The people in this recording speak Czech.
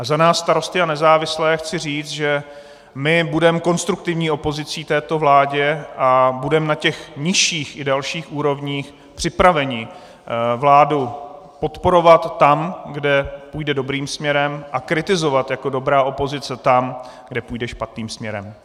A za nás Starosty a nezávislé chci říct, že my budeme konstruktivní opozicí této vládě a budeme na těch nižších i dalších úrovních připraveni vládu podporovat tam, kde půjde dobrým směrem, a kritizovat jako dobrá opozice tam, kde půjde špatným směrem.